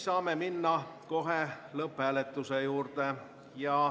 Saame minna kohe lõpphääletuse juurde.